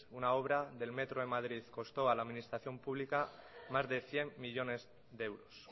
una obra en madrid le costó a la administración pública más de cien millónes de euros